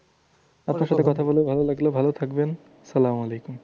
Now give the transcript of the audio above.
আপনার সাথে কথা বলেও ভালো লাগলো। ভালো থাকবেন সালাম আলাইকুম।